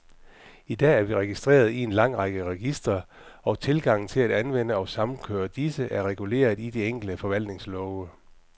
I dag er vi registreret i en lang række registre, og tilgangen til at anvende og samkøre disse, er reguleret i de enkelte forvaltningslove.